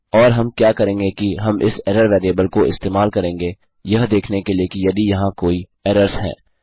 और हम क्या करेंगे कि हम इस एरर वेरिएबल को इस्तेमाल करेंगे यह देखने के लिए कि यदि यहाँ कोई एरर्स हैं